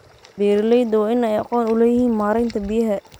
Beeralayda waa in ay aqoon u leeyihiin maareynta biyaha.